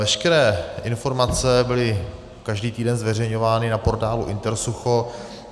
Veškeré informace byly každý týden zveřejňovány na portálu intersucho.